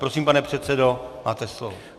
Prosím, pane předsedo, máte slovo.